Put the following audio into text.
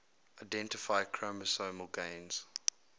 identify chromosomal gains